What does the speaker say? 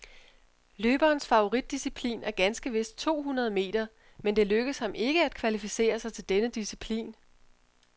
Løberens favoritdisciplin er ganske vist to hundrede meter, men det lykkedes ham ikke at kvalificere sig til denne disciplin.